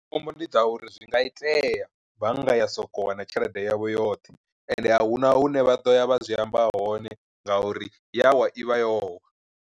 Khombo ndi dza uri zwi nga itea bannga ya soko wa na tshelede yavho yoṱhe, ende a huna hune vha ḓo ya vha zwi amba hone nga uri yawa i vha yo wa.